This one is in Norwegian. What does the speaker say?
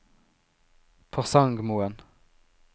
Porsangmoen